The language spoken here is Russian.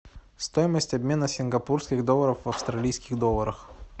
стоимость обмена сингапурских долларов в австралийских долларах